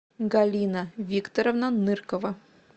галина викторовна ныркова